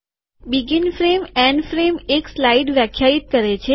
શરૂઆતની ફ્રેમ છેવટની ફ્રેમ એક સ્લાઇડને વ્યાખ્યાયિત કરે છે